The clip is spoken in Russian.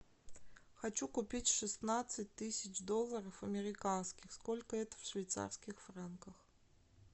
хочу купить шестнадцать тысяч долларов американских сколько это в швейцарских франках